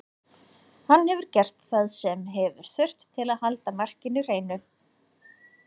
Hann hefur gert það sem hefur þurft til að halda markinu hreinu.